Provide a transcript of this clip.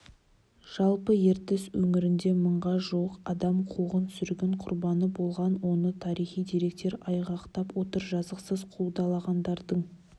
жалпы ертіс өңірінде мыңға жуық адам қуғын-сүргін құрбаны болған оны тарихи деректер айғақтап отыр жазықсыз қудаланғандардың